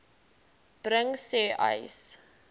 bring sê uys